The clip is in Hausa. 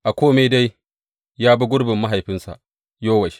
A kome dai ya bi gurbin mahaifinsa Yowash.